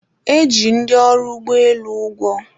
e ji ndị ọrụ ụgbọelu ụgwọ